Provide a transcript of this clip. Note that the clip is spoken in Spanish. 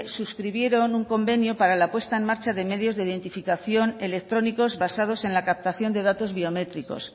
suscribieron un convenio para la puesta en marcha de medios de identificación electrónicos basados en la captación de datos biométricos